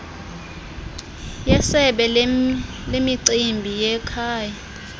yesebe lemicimbi yekhaya